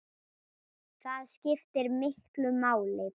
Það skiptir miklu máli.